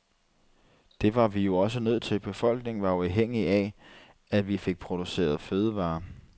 Det var vi jo også nødt til, befolkningen var jo afhængige af, at vi fik produceret fødevarer.